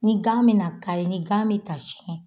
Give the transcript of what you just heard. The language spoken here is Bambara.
Ni gan mina kari ni gan mi ka siyɛn